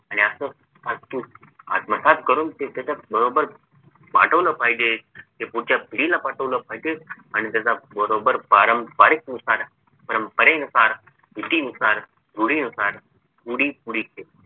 आत्मसात करून ते त्याच्या बरोबर पाठवलं पाहिजे ते पुढच्या पिढीला पाठवलं पाहिजे आणि त्याचा बरोबर पारंपरिक नुसार परंपरेनुसार रितीनुसार रूढीनुसार